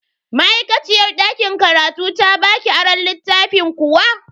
Ma'aikaciyar dakin karatun ta baki aron littafin kuwa?